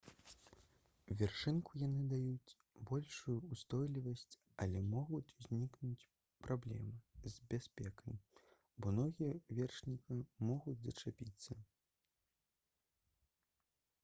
вершніку яны даюць большую ўстойлівасць але могуць узнікнуць праблемы з бяспекай бо ногі вершніка могуць зачапіцца